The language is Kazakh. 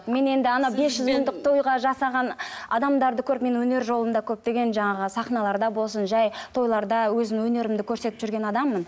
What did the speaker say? мен енді ана бес жүз мыңдық тойға жасаған адамдарды көріп мен өнер жолында көптеген жаңағы сахналарда болсын жай тойларда өзім өнерімді көрсетіп жүрген адаммын